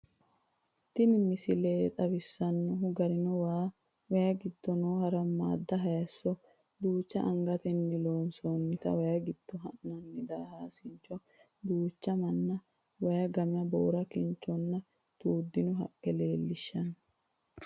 Tini misile xawissannohu garino waa, wayi giddo noo harammaadda hayiisso, duucha angatenni loonsoonnita wayi giddo ha'nanni daahaasincho , duucha manna, wayi gama boora kinchonna tuuddino haqqe leellishshanno.